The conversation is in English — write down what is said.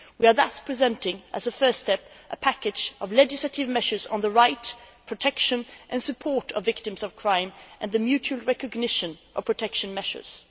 We are thus presenting, as a first step, a package of legislative measures on the rights, protection and support of victims of crime and the mutual recognition of protection measures.